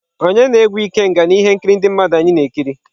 Onye na-egwu ikenga na ihe nkiri ndị mmadụ anyị na-ekiri?.